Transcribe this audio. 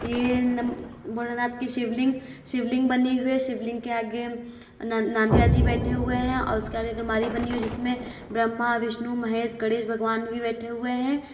ये नम भोलेनाथ की शिवलिंग शिवलिंग बनी हुई है । शिवलिंग के आगे ना नादिया जी बैठे हुए हैं और उसके आगे अलमारी बनी हुई है जिसमें ब्रह्मा विष्णु महेश गणेश भगवान भी बैठे हुए हैं।